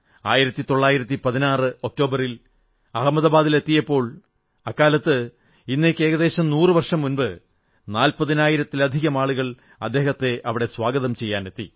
1916 ഒക്ടോബറിൽ അഹമദാബാദിലെത്തിയപ്പോൾ അക്കാലത്ത് ഇന്നേക്ക് ഏകദേശം നൂറു വർഷം മുമ്പ് 40000 ലധികം ആളുകൾ അദ്ദേഹത്തെ അവിടെ സ്വാഗതം ചെയ്യാനെത്തി